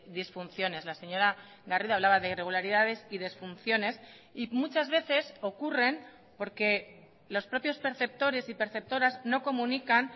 disfunciones la señora garrido hablaba de irregularidades y disfunciones y muchas veces ocurren porque los propios perceptores y perceptoras no comunican